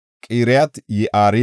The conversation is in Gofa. Iyaarko asay 345;